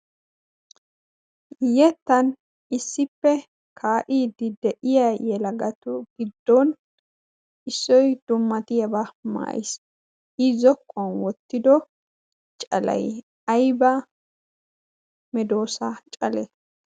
yettan issippe kaayiidi de'iya yela gatu giddon issoy dummatiyaabaa mayis i zokuwan wottido calay ayba medoosa calee?